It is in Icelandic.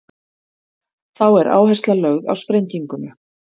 þá er áhersla lögð á sprenginguna